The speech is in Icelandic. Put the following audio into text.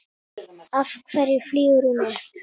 Af hverju flýgur hún upp?